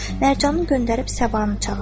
Mərcanı göndərib Səbanı çağırdılar.